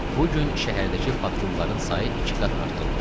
Bu gün şəhərdəki patrulların sayı iki qat artırılmışdı.